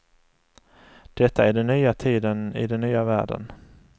Detta är den nya tiden i den nya världen.